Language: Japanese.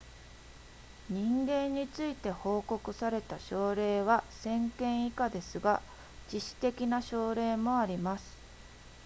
人間について報告された症例は1000件以下ですが致死的な症例もあります